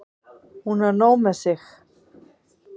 Hún á nóg með sig.